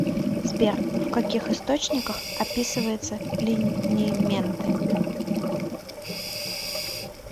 сбер в каких источниках описывается линименты